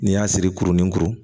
N'i y'a siri kurunin kuru